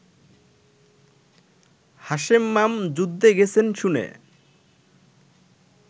হাশেমমাম যুদ্ধে গেছেন শুনে